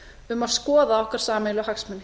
um að skoða okkar sameiginlegu hagsmuni